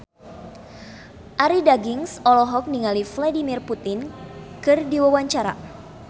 Arie Daginks olohok ningali Vladimir Putin keur diwawancara